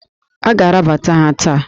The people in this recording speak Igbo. A ga-arabata ha taa!